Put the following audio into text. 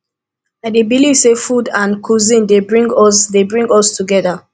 i dey believe say food and cuisine dey bring us dey bring us together